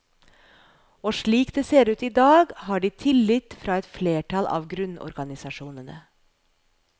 Og slik det ser ut i dag, har de tillit fra et flertall av grunnorganisasjonene.